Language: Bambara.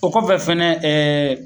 O kɔfɛ fɛnɛ ɛɛ